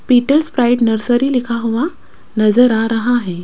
पिटल Sprite nursery लिखा हुआ नजर आ रहा है।